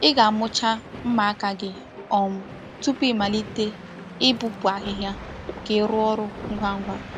Ị ga-amụcha mma aka gị um tupu ịmalite ịpụpụ ahịhịa ka ị rụọ ọrụ ngwa ngwa.